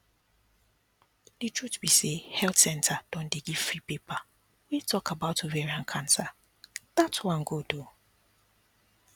the truth be say health centre don dey give free paper wey talk about ovarian cancer that one good ooo